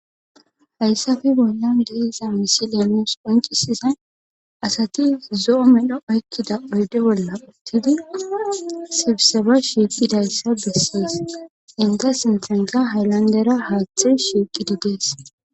Hayssafe bollan deeza misi leemos qoncisizay asati zo'o medho oykkida oyde bolla uttidi sibseba shiiqidayssa bessees inga sintanka haylandera haaththe shiiqidi gees.